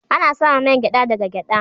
Ana samun main geɗa da ga geɗa.